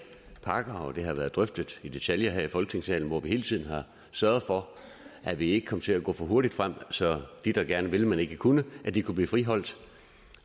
pakker og det har været drøftet i detaljer her i folketingssalen hvor vi hele tiden har sørget for at vi ikke kom til at gå for hurtigt frem så de der gerne ville men ikke kunne kunne blive friholdt